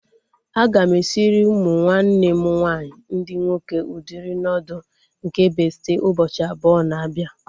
Aga m esiri ụmụ nwanne m nwaanyị ndị nwoke udiri nuudu nke bestị ụbọchị abụọ na-abịa